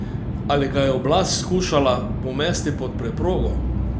Ali ga je oblast skušala pomesti pod preprogo?